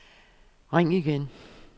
ring igen